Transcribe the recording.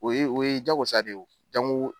O ye o ye jago sa de ye o jango